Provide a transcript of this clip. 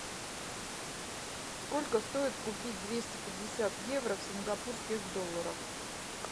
сколько стоит купить двести пятьдесят евро в сингапурских долларах